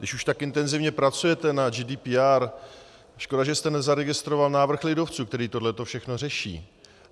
Když už tak intenzivně pracujete na GDPR, škoda, že jste nezaregistroval návrh lidovců, který tohleto všechno řeší.